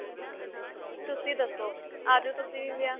ਤੁਸੀਂ ਦੱਸੋ? ਆਜੋ ਤੁਸੀਂ ਵੀ ਵਿਆਹ.